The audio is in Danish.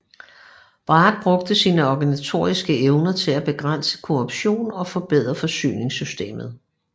Bragg brugte sine organisatoriske evner til at begrænse korruptionen og forbedre forsyningssystemet